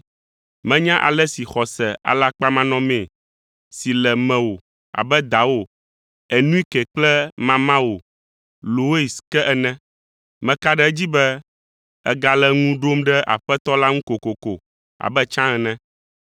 Menya ale si xɔse alakpamanɔme si le mewò abe dawò Enuike kple mamawò Lois ke ene. Meka ɖe edzi be ègale ŋu ɖom ɖe Aƒetɔ la ŋu kokoko abe tsã ene.